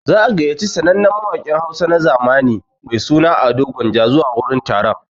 Za'a gayyaci sannannen mawaƙin Hausa na zamani mai suna Ado gwanja zuwa wurin taron.